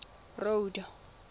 road